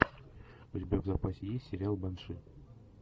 у тебя в запасе есть сериал банши